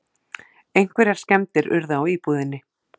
Einhverjar skemmdir urðu á íbúðinni